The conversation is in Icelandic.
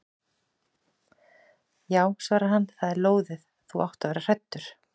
Já svarar hann, það er lóðið, þú átt að vera hræddur.